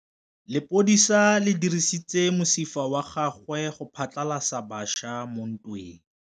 Lepodisa le dirisitse mosifa wa gagwe go phatlalatsa batšha mo ntweng.